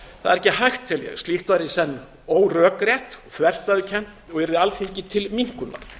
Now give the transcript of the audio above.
það er ekki hægt tel ég slíkt væri í senn órökrétt þverstæðukennt og yrði alþingi til minnkunar